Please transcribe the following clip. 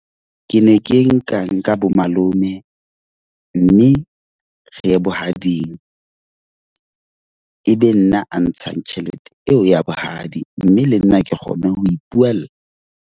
Ke ne ke nkang nka bo malome. Mme re ye bohading, e be nna a ntshang tjhelete eo ya bohadi mme le nna ke kgone ho ipuwella.